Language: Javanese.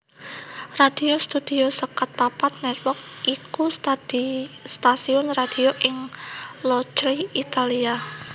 Radio Studio seket papat Network iku stasiun radio ing Locri Italia